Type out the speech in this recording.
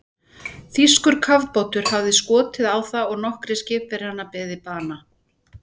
Þýskur kafbátur hafði skotið á það og nokkrir skipverjar beðið bana.